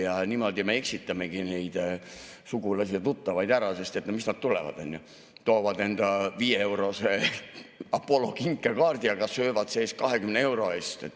Ja niimoodi me eksitamegi neid sugulasi ja tuttavaid, sest miks nad tulevad, toovad viieeurose Apollo kinkekaardi, aga söövad see-eest 20 euro eest.